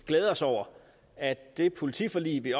glæde os over at det politiforlig vi